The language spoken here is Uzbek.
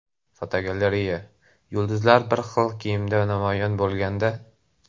Fotogalereya: Yulduzlar bir xil kiyimda namoyon bo‘lganda.